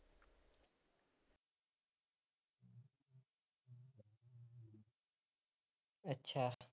ਅੱਛਾ